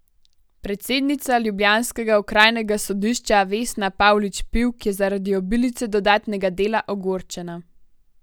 Predsednica ljubljanskega okrajnega sodišča Vesna Pavlič Pivk je zaradi obilice dodatnega dela ogorčena.